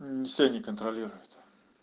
всё не контролирует